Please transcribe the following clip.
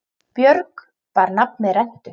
Björg bar nafn með rentu.